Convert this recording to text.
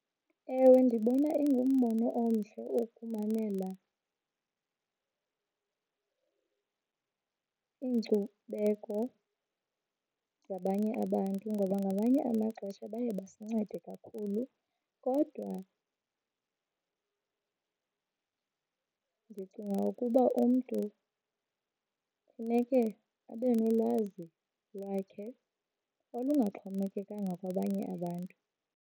Ewe, ndibona ingumbono omhle ukumamela iinkcubeko zabanye abantu ngoba ngamanye amaxesha baye basincede kakhulu. Kodwa ndicinga ukuba umntu funeke abe nolwazi lwakhe olungaxhomekekanga kwabanye abantu.